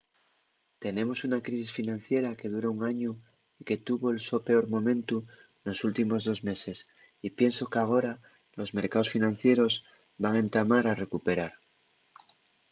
tenemos una crisis financiera que dura un añu y que tuvo’l so peor momentu nos últimos dos meses y pienso qu’agora los mercaos financieros van entamar a recuperar.